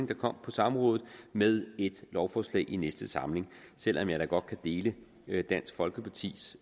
der kom på samrådet med et lovforslag i næste samling selv om jeg da godt kan dele dansk folkepartis